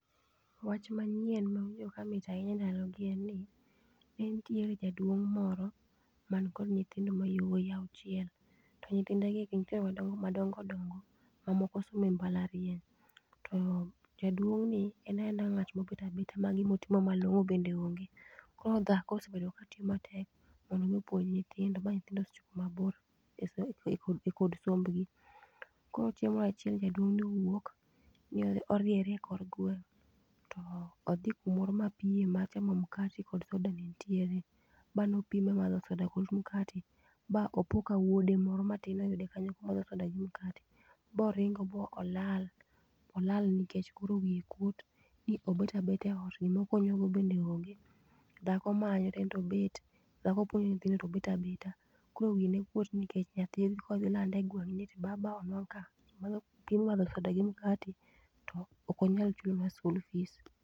Wach manyien mawinjo kamit ahinya e ndalogi gi en ni, ne nitiere jaduong' moro mani kod nyithindo mayawuoyi auchiel, to nyithindegi gin jo madongo dongo mamoko some mbalariany. To jaduong'ni en aena ng'at ma obet abeta ma gimo timo malong'o bende onge. Koro dhako osebedo ka tiyo matek mondo omi opuonj nyithindo, ba nyithindo osechopo kuma bor e e kod sombgi. Koro chieng' moro achiel jaduong' ni owuok ni oriere e kor gweng, to odhi kumoro ma piem mar chamo mkati kod soda ne nitiere. Ba nopiem e madho soda kod mkati, ba opo ka wuode moro matin oyude kanyo komadho soda gi mkati. Boringo bo olal, olal nikech koro wiye kuot ni obet abeta e ot, gima okonyogo bende onge? Dhako manyo to ento obet. Dhako puonjo nyithindo to obet abeta. Koro wiye nekuot nikech nyathi biro lande e gweng' ni baba onwang' ka piem madho soda kod mkati to ok onyal chulona school fees.